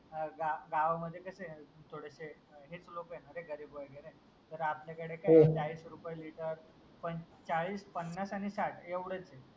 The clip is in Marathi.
अह गा गा गावामध्ये कस आहे म्हणजे थोडेसे हेच लोक आहे ना रे गरीब वगैरे तर आपल्याकडे कस आहे चाळीस रुपये लिटर पण चाळीस, पन्नास आणि साठ एवढाच आहे.